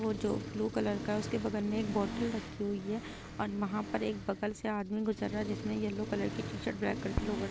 वो जो बालू कलर का है उसके बगल में एक बोतल रखी हुई है और वहाँ पर एक बगल से आदमी गुजर रहा हैजिसने येलो कलर की टी-शर्ट ब्लैक कलर की लोअर --